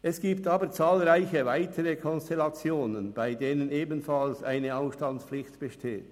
Es gibt aber zahlreiche weitere Konstellationen, bei denen ebenfalls eine Ausstandspflicht besteht: